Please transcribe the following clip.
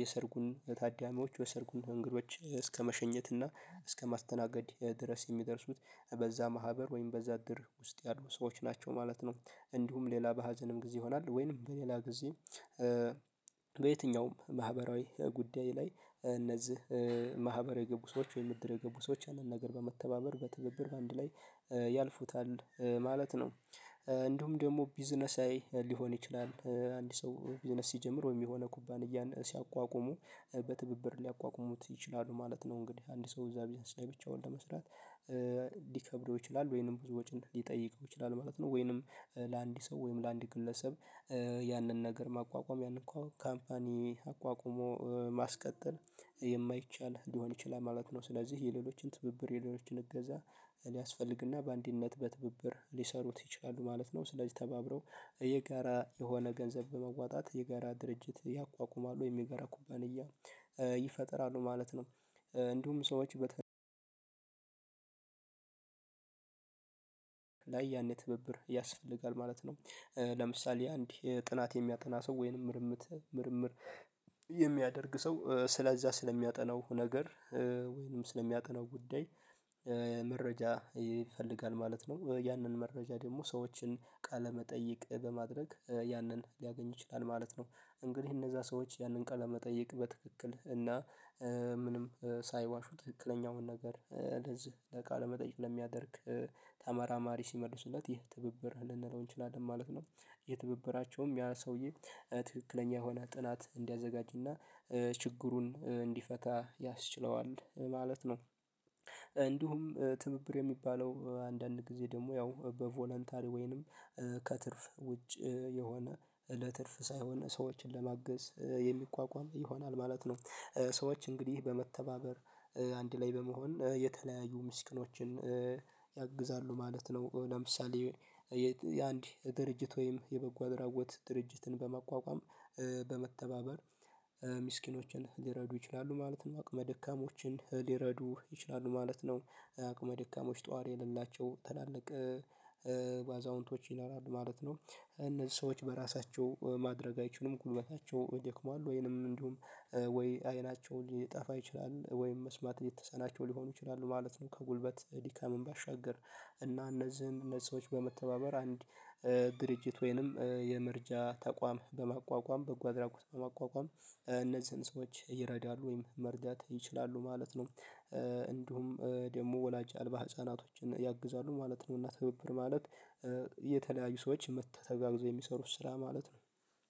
የሰርጉን ታዳሚዎች የሰርጉን እንግዶች እስከመሸኘት እና እስከማስተናገድ ድረስ የሚደርሱት በዛ ማህበር ወይም በዛ እድር ውስጥ ያሉ ሰዎች ናቸው ማለት ነው። እንዲሁም ሌላ በሀዘንም ጊዜ ይሆናል ወይንም በሌላ ጊዜ በየትኛውም ማህበራዊ ጉዳይ ላይ እነዚህ ማህበራዊ ሰዎች ወይም እድር የገቡ ሰዎች ያንን ነገር በመተባበር በትብብር በአንድ ላይ ያልፉታል ማለት ነው። እንዲሁም ደግሞ ቢዝነሳዊ ሊሆን ይችላል አንድ ሰው ቢዝነስ ሲጀምር ወይም የሆነ ኩባንያ ሲያቋቁሙ በትብብር ሊያቋቁሙት ይችላሉ ማለት ነው እንግዲህ አንድ ሰው እዛ ቢዝነስ ላይ ብቻ ለመስራት ሊከብደው ይችላል ወይንም ብዙ ወጪን ሊጠይቀው ይችላል ማለት ነው። ወይንም ለአንድ ሰው ወይንም ለአንድ ግለሰብ ያንን ነገር ማቋቋም ያንን እኮ ካምፓኒ አቋቁሞ ማስቀጠል የማይቻል ሊሆን ይችላል ማለት ነው። ስለዚህ የሌሎችን ትብብር የሌሎችን እገዛ ሊያስፈልግና በአንዲት ነጥብ በትብብር ሊሰሩት ይችላሉ ማለት ነው ስለዚህ ተባብረው የጋራ የሆነ ገንዘብ በማዋጣት የጋራ ድርጅት ያቋቁማሉ ወይም የጋራ ኩባንያ ይፈጥራሉ ማለት ነው። እንዲሁም ሰዎች ላይ ያኔ ትብብር ያስፈልጋል ማለት ነው። ለምሳሌ አንድ ጥናት የሚያጠና ሰው ወይንም ምርምር የሚያደርግ ሰው ስለዚያ ስለሚያጠናው ነገር ወይንም ስለሚያጠነው ጉዳይ መረጃ ይፈልጋል ማለት ነው ያንን መረጃ ደግሞ ሰዎችን ቃለመጠይቅ በማድረግ ያንን ሊያገኝ ይችላል ማለት ነው እንግዲህ እነዛ ሰዎች ያንን ቃለመጠየቅ በትክክል እና ምንም ሳይዋሹ ትክክለኛውን ነገር እንደዚህ ለቃለመጠይቅ ለሚያደርግ ተመራማሪ ሲመልሱለት ይህ ትብብር ልንለው እንችላለን ማለት ነው። ይህ ትብብራቸውም ያ ሰውዬ ትክክለኛ የሆነ ጥናት እንዲያዘጋጅና ችግሩን እንዲፈታ ያስችለዋል ማለት ነው። እንዲሁም ትብብር የሚባለው አንዳንድ ጊዜ ደግሞ ያው በቮለንታሪ ወይንም ከትርፍ ውጭ የሆነ ለትርፍ ሳይሆን ሰዎችን ለማገዝ የሚቋቋም ይሆናል ማለት ነው። ሰዎች እንግዲህ በመተባበር አንድ ላይ በመሆን የተለያዩ ምስኪኖችን ያግዛሉ ማለት ነው ለምሳሌ የአንድ ድርጅት ወይም የበጎ አድራጎት ድርጅትን በማቋቋም በመተባበር ምስኪኖችን ሊረዱ ይችላሉ ማለትም አቅመ ደካሞችን ሊረዱ ይችላሉ ማለት ነው። አቅመ ደካሞች ጠዋሪ የሌላቸው ትላልቅ አዛውንቶች ይኖራል ማለት ነው ሰዎች በራሳቸው ማድረግ አይችሉም ጉልበታቸው ደክሟል ወይንም እንዲሁም ወይ አይናቸውን ሊጠፋ ይችላል ወይም መስማት የተሳናቸው ሊሆኑ ይችላሉ ማለት ነው። ከጉልበት ድካምም ባሻገር እና እነዚህን ሰዎች በመተባበር አንድ ድርጅት ወይንም የመረጃ ተቋም በማቋቋም በጎእድራጎት በማቋቋም እነዚህን ሰዎች ይረዳሉ ወይም መርዳት ይችላሉ ማለት ነው። እንዲሁም ደግሞ ወላጅ አልባ ህፃናቶችን ያግዛሉ ማለት ነውና ትብብር ማለት የተለያዩ ሰዎች ተጋግዘው የሚሰሩት ስራ ማለት ነው።